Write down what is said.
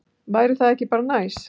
Væri það ekki bara næs?